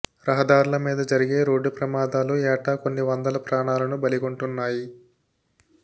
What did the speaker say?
రహదార్ల మీద జరిగే రోడ్డు ప్రమాదాలు ఏటా కొన్ని వందల ప్రాణాలను బలిగొంటున్నాయి